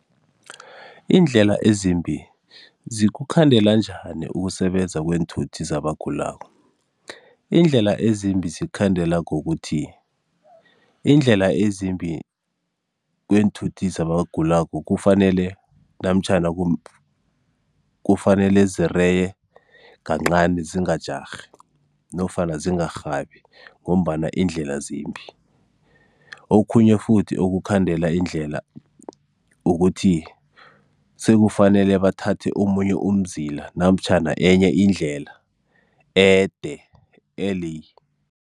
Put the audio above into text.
Iindlela ezimbi, zikukhandela njani ukusebenza kweentuthi zabagulako? IIndlela ezimbi zikhukhandela ngokuthi, iindlela ezimbi kweenthuthi zabagulako kufanele namtjhana kufanele zireye kancani zingajarhi nofana zingarhabi ngombana iindlela zimbi. Okhunye futhi okukhandela indlela, ukuthi sekufanele bathathe omunye umzila namtjhana enye indlela ede